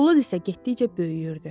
Bulud isə getdikcə böyüyürdü.